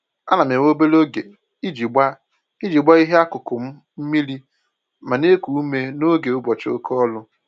Ana m ewe obere oge iji gbaa iji gbaa ihe akụkụ m mmiri ma na-eku ume n'oge ụbọchị oké ọrụ